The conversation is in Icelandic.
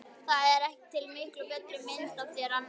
Það er til miklu betri mynd af þér annars staðar.